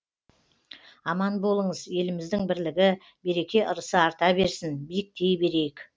аман болыңыз еліміздің бірлігі береке ырысы арта берсін биіктей берейік